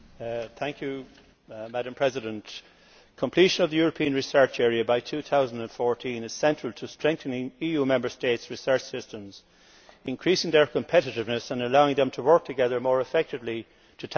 Madam President, completion of the European Research Area by 2014 is central to strengthening EU Member States' research systems, increasing their competitiveness and allowing them to work together more effectively to tackle major challenges.